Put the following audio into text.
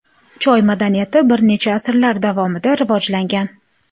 Choy madaniyati bir necha asrlar davomida rivojlangan.